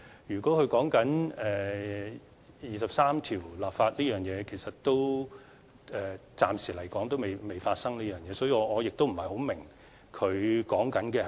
如果他說的是就第二十三條立法這方面，暫時來說仍未發生，所以，我不太明白他說的是甚麼。